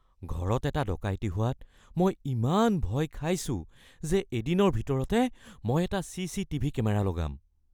ঘৰত এটা ডকাইতি হোৱাত মই ইমান ভয় খাইছোঁ যে এদিনৰ ভিতৰতে মই এটা চি.চি.টি.ভি. কেমেৰা লগাম। (নাগৰিক)